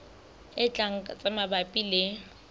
e tlang tse mabapi le